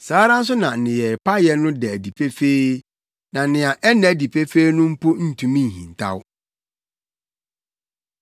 Saa ara nso na nneyɛe payɛ no da adi pefee. Na nea ɛnna adi pefee no mpo ntumi nhintaw.